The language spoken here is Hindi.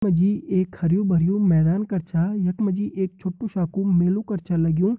यख मा जी एक हरयूं भरयूं मैदान कर छा यख मा जी एक छोटू सा कु मेलु कर छ लग्युं।